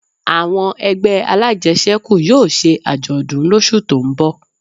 Àwọn ẹgbẹ́ alájẹsẹ́kù yóò ṣe àjọ̀dún lósù tó ń bọ̀